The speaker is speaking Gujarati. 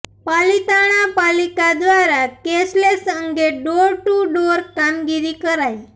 પાલિતાણા પાલિકા દ્વારા કેશલેસ અંગે ડોર ટુ ડોર કામગીરી કરાઇ